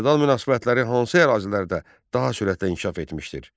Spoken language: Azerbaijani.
Feodal münasibətləri hansı ərazilərdə daha sürətlə inkişaf etmişdir?